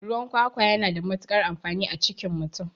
Ruwan kwakwa yana da matukar amfani a cikin mutum